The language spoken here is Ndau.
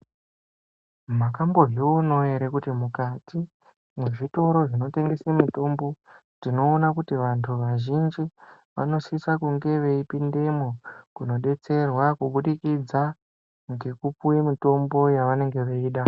Makambozvionawo ere kuti mukati mwezvitoro zvinotengese mitombo, tinoona kuti vantu vazhinji vanosisa kunge veipindemwo kunodetserwa kubudikidza ngekupuwe mitombo yavanenge veida.